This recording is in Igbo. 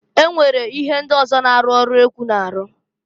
E nwere ihe ndị ọzọ na-arụ ọrụ ekwu n'arụ.